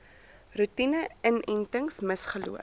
roetine inentings misgeloop